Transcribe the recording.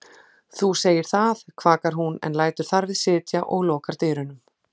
Þú segir það, kvakar hún en lætur þar við sitja og lokar dyrunum.